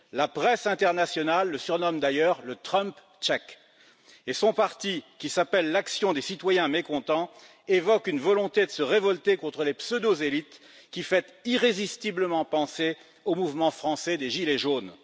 La presse internationale le surnomme d'ailleurs le Trump tchèque et son parti, qui s'appelle L'action des citoyens mécontents, évoque une volonté de se révolter contre les pseudo élites qui fait irrésistiblement penser au mouvement français des gilets jaunes.